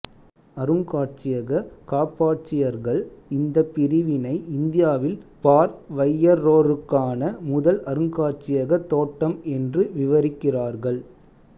அருங்காட்சியக காப்பாட்சியர்கள் இந்தப் பிரிவினை இந்தியாவில் பார்வையற்றோருக்கான முதல் அருங்காட்சியக தோட்டம் என்று விவரிக்கிறார்கள்